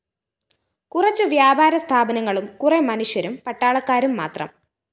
കുറച്ചു വ്യാപാര സ്ഥാപനങ്ങളും കുറെ മനുഷ്യരും പട്ടാളക്കാരും മാത്രം